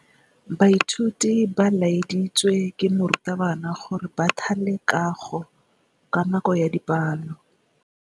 Baithuti ba laeditswe ke morutabana gore ba thale kagô ka nako ya dipalô.